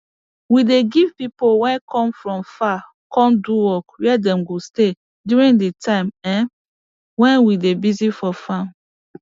we dey give pipo wey come from far come do work where dem go stay during de time um we dey busy for farm